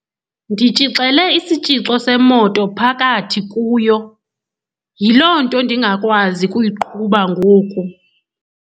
Nditshixele isitshixo semoto phakathi kuyo, yiloo nto ndingakwazi kuyiqhuba ngoku.